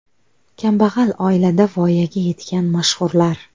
Kambag‘al oilada voyaga yetgan mashhurlar .